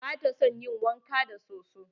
Bata son ƴin wanka da soso.